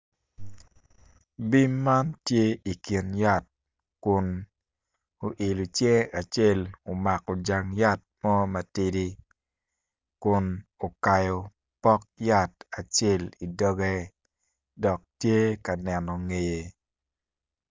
Puc man obuto piny kun puc man kala kome tye macol nicuc kun opero ite tye ka winyo jami. Puc man bene tye ka neno.